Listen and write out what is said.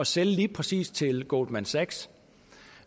sælge lige præcis til goldman sachs